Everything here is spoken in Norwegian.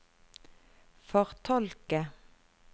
fortolke